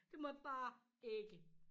Det måtte bare ikke